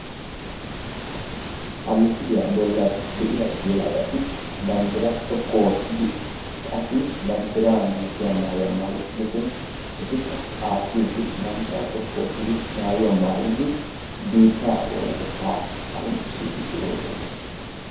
ha misiliya bolani de"iya yelagatti bandira xoqu ootidi qassi bandirra malatiya maayuwa maayidi biittaa oonatetta qoncisiidi de"oosona.